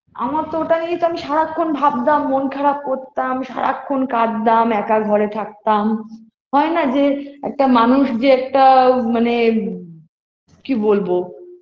আমার তো ওটা নিয়েই তো আমি সারাক্ষণ ভাবতাম মন খারার করতাম সারাক্ষণ কাঁদতাম একার ঘরে থাকতাম হয়না যে একটা মানুষ যে একটা মানে কি বলবো